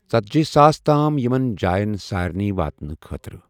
ژدجی ساس تام یِمَن جایَن سارنٕے واتنہٕ خٲطرٕ.